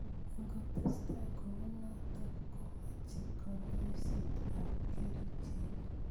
Ingotestai kounotok komeche kanyoiset ab kerichek.